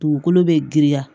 Dugukolo bɛ girinya